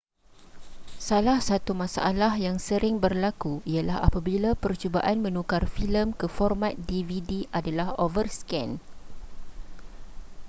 salah satu masalah yang sering berlaku ialah apabila percubaan menukar filem ke format dvd adalah overscan